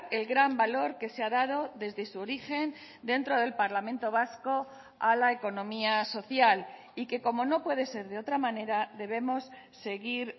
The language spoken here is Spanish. el gran valor que se ha dado desde su origen dentro del parlamento vasco a la economía social y que como no puede ser de otra manera debemos seguir